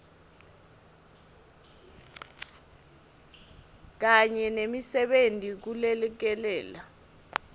kanye nemisebenti kulekelela